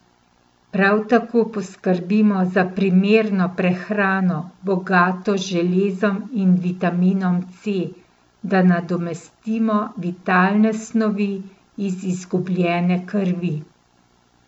Prav tako poskrbimo za primerno prehrano, bogato z železom in vitaminom C, da nadomestimo vitalne snovi iz izgubljene krvi.